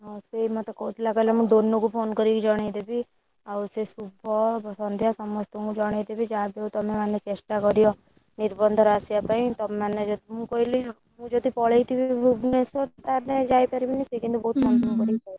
ହଁ ସିଏ ମତେ କହୁଥିଲା କହିଲା ମୁଁ ଡୋନୁ କୁ phone କରିକି ଜଣେଇଦେବି ଆଉ ସେ ଶୁଭ ସନ୍ଧ୍ୟା ସମସ୍ତଙ୍କୁ ଜଣେଇଦେବୀ ଯାହାବି ହଉ ତମେମାନେ ଚେଷ୍ଟା କରିବ ନିର୍ବନ୍ଧରେ ଆସିବାପାଇଁ ତମେମାନେ ଯଦି ମୁଁ କହିଲି ହଁ ମୁଁ ଯଦି ପଳେଇଥିବୀ ଭୁବନେଶ୍ବର ତାହେଲେ ଯାଇପାରିବିନି ସେ କିନ୍ତୁ କହୁଥିଲା ହୁଁ ହୁଁ phone କରି କହିବୁ।